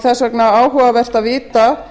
þess vegna er áhugavert að vita